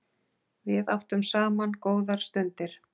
Við áttum saman góðar stundir.